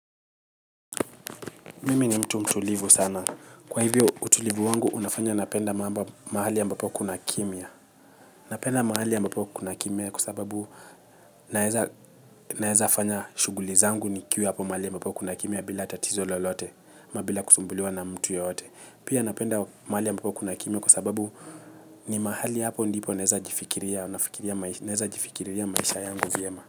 Mimi ni mtu mtulivu sana. Kwa hivyo utulivu wangu, unafanya napenda mahali ambapo kuna kimya. Napenda mahali ambapo kuna kimya kwa sababu naeza fanya shughuli zangu nikiwa hapo mahali ambapo kuna kimya bila tatizo lolote, ama bila kusumbuliwa na mtu yoyote. Pia napenda mahali ambapo kuna kimya kwa sababu ni mahali hapo ndipo naeza jifikiria maisha yangu viyema.